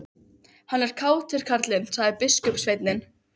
Hann er kátur, karlinn, sagði biskupssveinninn.